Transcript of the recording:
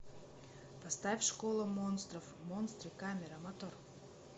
поставь школа монстров монстры камера мотор